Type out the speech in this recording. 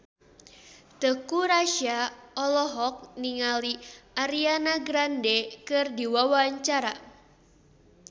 Teuku Rassya olohok ningali Ariana Grande keur diwawancara